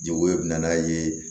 Jago ye n'a ye